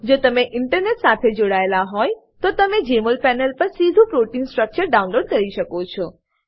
જો તમે ઈન્ટરનેટ સાથે જોડાયેલ હોય તો તમે જેમોલ પેનલ પર સીધુ પ્રોટીન સ્ટ્રક્ચર ડાઉનલોડ કરી શકો છો